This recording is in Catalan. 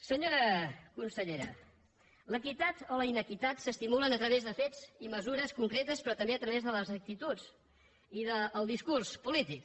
senyora consellera l’equitat o la inequitat s’estimulen a través de fets i mesures concretes però també a través de les actituds i del discurs polític